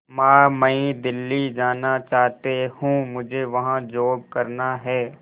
मां मैं दिल्ली जाना चाहते हूँ मुझे वहां जॉब करना है